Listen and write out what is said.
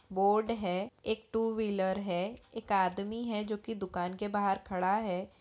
Board है एक two wheeler है एक आदमी है जो की दुकान के बाहर खड़ा है।